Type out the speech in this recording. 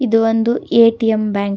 ಇದು ಒಂದು ATM bank .